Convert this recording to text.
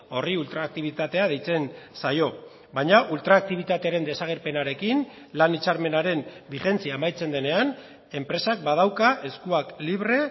horri ultraaktibitatea deitzen zaio baina ultraaktibitatearen desagerpenarekin lan hitzarmenaren bigentzia amaitzen denean enpresak badauka eskuak libre